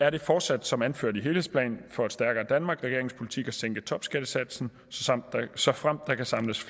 er det fortsat som anført i helhedsplan for et stærkere danmark regeringens politik at sænke topskattesatsen såfremt der kan samles